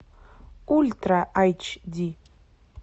ультра айч ди